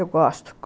Eu gosto.